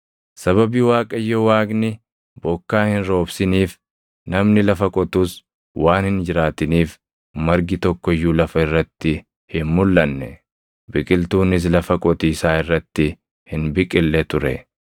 Sababii Waaqayyo Waaqni bokkaa hin roobsiniif, namni lafa qotus waan hin jiraatiniif margi tokko iyyuu lafa irratti hin mulʼanne; biqiltuunis lafa qotiisaa irratti hin biqille ture.